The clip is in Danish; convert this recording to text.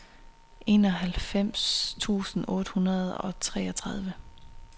enoghalvfems tusind otte hundrede og treogtredive